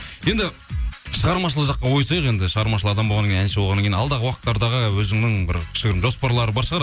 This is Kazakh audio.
енді шығармашылық жаққа ойысайық енді шығармашыл адам болғаннан кейін әнші болғаннан кейін алдағы уақыттардағы өзінің бір кішігірім жоспарлар бар шығар